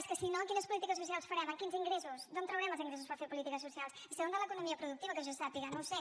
és que si no quines polítiques socials farem amb quins ingressos d’on traurem els ingressos per fer polítiques socials són de l’economia productiva que jo sàpiga no ho sé